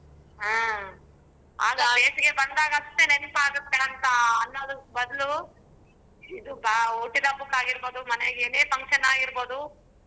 ಹ್ಮ್ ಅದು ಬೇಸಿಗೆ ಬಂದಾಗಸ್ಟೇ ನೆನಪಾಗತ್ತೆ ಅಂತ ಅನ್ನೋದು ಬದ್ಲು ಆ ಹುಟ್ಟಿದ ಹಬ್ಬಕ್ಕಾಗಿರ್ಬೋದು ಮನೇಲಿ ಏನೇ function ಆಗಿರ್ಬೋದು.